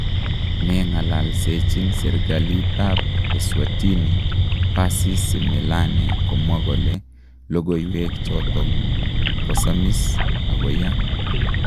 nengalalsechin serigalit ap eSwatini Percy Simelane komwa kole logoiwek chatong �kosamis� ago �ya�